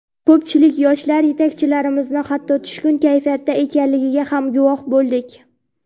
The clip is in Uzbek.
Ko‘pchilik yoshlar yetakchilarimizning hatto tushkun kayfiyatda ekanligiga ham guvoh bo‘ldik.